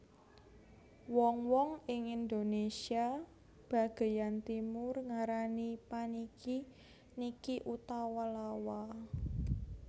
Wong wong ing Indonésia bagéyan Timur ngarani paniki niki utawa lawa